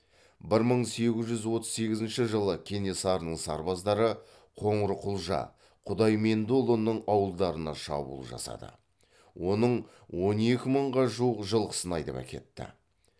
бір мың сегіз жүз отыз сегізінші жылы кенесарының сарбаздары қоңырқұлжа құдаймендіұлының ауылдарына шабуыл жасады оның он екі мыңға жуық жылқысын айдап әкетті